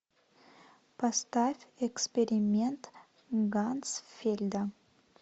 поставь эксперимент ганцфельда